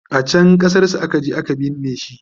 a can ƙasar su akaje a ka binne shi